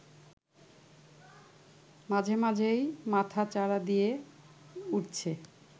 মাঝেমাঝেই মাথাচাড়া দিয়ে উঠছে